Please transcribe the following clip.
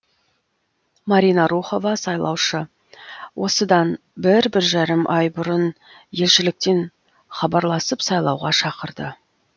марина рухова сайлаушы осыдан бір бір жарым ай бұрын елшіліктен хабарласып сайлауға шақырды